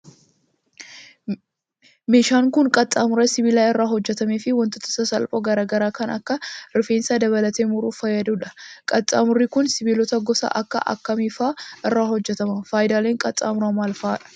Meeshaan kun, qaxxaamura sibiila irraa hojjatamee fi wantoota sasalphoo garaa garaa kan akka rifeensa dabalatee muruuf fayyaduu dha. Qaxxaamurri kun, sibiilota gosa akka kamii faa irraa hojjatama? Faayidaaleen qaxxaamuraa maal faa dha?